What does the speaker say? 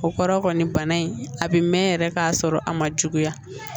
O kɔrɔ kɔni bana in a bi mɛn yɛrɛ k'a sɔrɔ a ma juguya